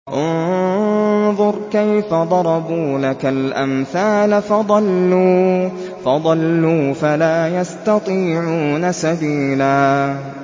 انظُرْ كَيْفَ ضَرَبُوا لَكَ الْأَمْثَالَ فَضَلُّوا فَلَا يَسْتَطِيعُونَ سَبِيلًا